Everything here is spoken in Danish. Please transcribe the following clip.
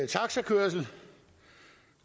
taxakørsel